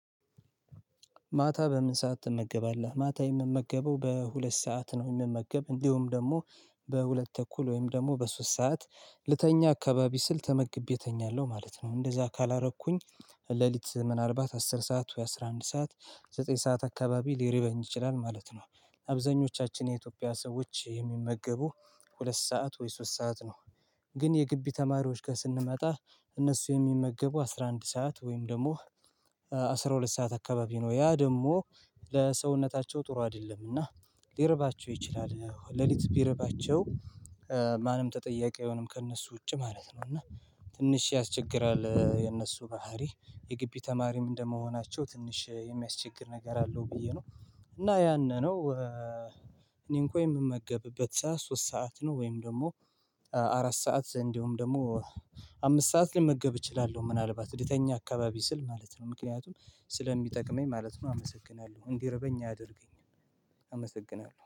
ማታ በምን ሰዓት ትመገባለህ? ማታ የምመገበው በሁለት ሰዓት ነው የምመገብ እንዲሁም ደግሞ በሁለት ተ እኩል ወይም ደግሞ በሶስት ሰዓት ልተኛ አካባቢ ስል ተመግቤ እተኛለሁ ማለት ነው። እንደዚያ ካላረኩኝ ሌሊት ምን አልባት አስር ሰዓት ወይ አስራ አንድ ሰዓት ዘጠኝ ሰዓት አካባቢ ሊረበኝ ይችላል ማለት ነው። አብዛኞቻችን የኢትዮጵያ ሰዎች የሚመገቡ ሁለት ሰዓት ወይ ሶስት ሰዓት ነው። ግን የግቢ ተማሪዎች ጋር ስንመጣ እነሱ የሚመገቡ አስራ አንድ ሰዓት ወይም ደግሞ አስራ ሁለት ሰዓት አካባቢ ነው ያ ደግሞ ለሰውነታቸው ጥሩ አይደለምና። ሊርባቸው ይችላል ሌሊት ቢርባቸው ማንም ተጠያቂ አይሆንም ከእነሱ ውጪ ማለት ነው። እና ትንሽ ያስቸግራል የእነሱ ባህሪ የግቢ ተማሪም እንደመሆናቸው ትንሽ የሚያስቸግር ነገር አለው ብዬ ነው። እና ያንን ነው። እኔን እንኳን የምመገብበት ሰዓት ሶስት ሰዓት ነው። ወይም ደግሞ አራት ሰዓት እንደውም ደግሞ አምስት ሰዓት ለመገብ እችላለሁ ምናልባት ልተኛ አካባቢ ስል ማለት ነው ምክንያቱም ስለሚጠቅመኝ ማለት ነው። አመሰግናለሁ እንዲርበኝ አያደርገኝም አመሰግናለሁ